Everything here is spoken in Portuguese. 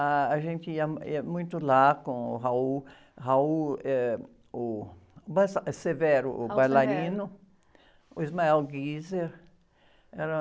Ah, gente ia, ia muito lá com o, ãh, eh, o, o bailarino, o. Era...